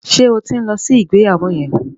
Ṣé o ti ń lọ sí ìgbéyàwó yẹn?